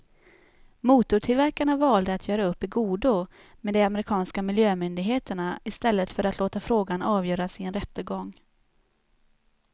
Motortillverkarna valde att göra upp i godo med de amerikanska miljömyndigheterna i stället för att låta frågan avgöras i en rättegång.